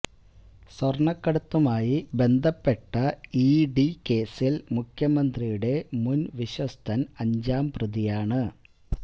സ്വര്ണക്കടത്തുമായി ബന്ധപ്പെട്ട E D കേസില് മുഖ്യമന്ത്രിയുടെ മുന് വിശ്വസ്തന് അഞ്ചാം പ്രതിയാണ്